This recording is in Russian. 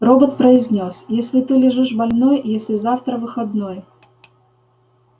робот произнёс если ты лежишь больной если завтра выходной